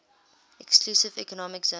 exclusive economic zone